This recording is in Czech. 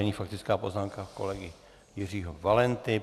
Nyní faktická poznámka kolegy Jiřího Valenty.